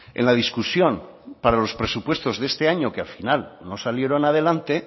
en la discusión para los presupuestos de este año que al final no salieron adelante